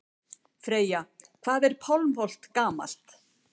Freyja: Hvað er Pálmholt gamalt?